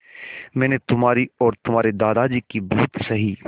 मैंने तुम्हारी और तुम्हारे दादाजी की बहुत सही